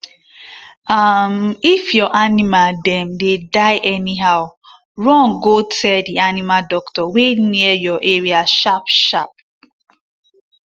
um if your animal dem dey die anyhow run go tell the animal doctor wey near your area sharp sharp